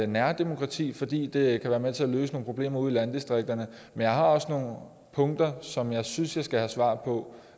nærdemokrati fordi det kan være med til at løse nogle problemer ude i landdistrikterne men jeg har også nogle punkter som jeg synes jeg skal have svar på